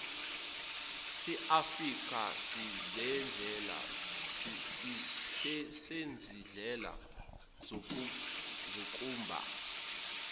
seafrika sezindlela zokumba